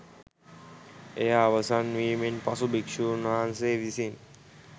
එය අවසන්වීමෙන් පසු භික්ෂූන් වහන්සේ විසින්